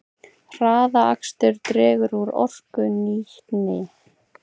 Hraðakstur dregur úr orkunýtni